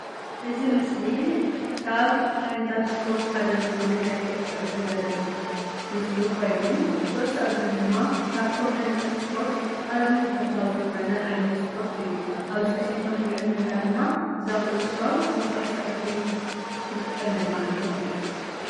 እዚ ምስሊ ካብ ዓይነታት ስፖርት ሓደ ዝኾነ ናይ ኩዕሶ እግሪ ዘመልክት ምስሊ ኮይኑ ኩዕሶ እግሪ ድማ ካብቶም ዓይነታት ስፖርት ኣዝዩ ተፈታዊ ዝኾነ ዓይነት ስፖርት እዩ። ኣብዚ ምስሊ ከም እንሪኦ ዘለና ድማ እዛ ኩዕሶ ንኩዕሶ እግሪ ንጥቀመላ ዓይነት እያ።